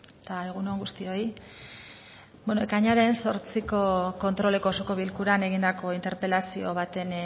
eta egun on guztioi beno ekainaren zortziko kontroleko osoko bilkuran egindako interpelazio baten